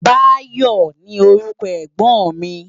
Bayo ni órúkò ègbòn mi